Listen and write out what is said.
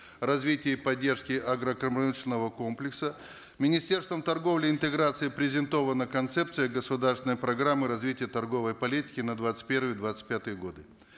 развития и поддержки агропромышленного комплекса министерством торговли и интеграции презентована концепция государственной программы развития торговой политики на двадцать первый двадцать пятые годы